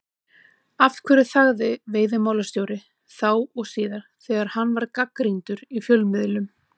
Af hverju þagði veiðimálastjóri, þá og síðar, þegar hann var gagnrýndur í fjölmiðlum?